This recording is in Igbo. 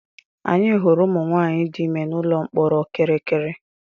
Anyị hụrụ ụmụnwaanyị dị ime n'ụlọ mkpọrọ kirikiri.